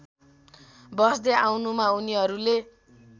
बस्दै आउनुमा उनीहरूले